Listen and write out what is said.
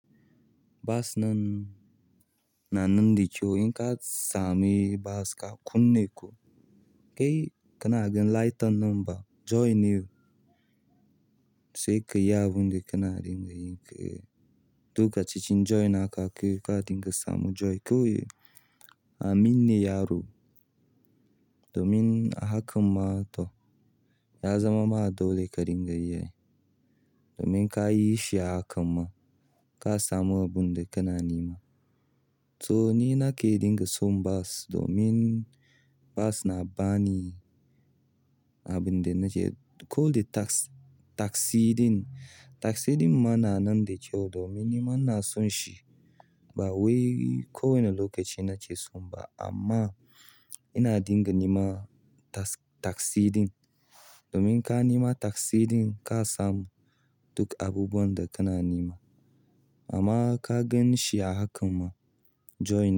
Basunan na nunin da cewa in kasamu baska ka nuni kai kanagan lightern nan joy ne sai kai ya abun da ka na dinga yi, duk kacici join aka kai ka dinga samu join. Kawai amin ne yaro, domin a haka ma to ya zama ma dole ka dinga yi. Domin ka yi shi a haka ma ka samu abun da ka na nema. To ni na ke dinga son bas domin bas na ba ni abun da na ce. Ko dai tax taxi ɗin, taxi ɗin ma na nan da kayu domin ni ma na son shi. Bawai ko wani lokaci nake so ba amma ina dinga neman taksi ɗin, domin in ka nima taksi ɗin ka samu duk abubuwan da kana nema amma in ka ganshi a haka.